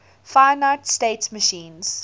finite state machines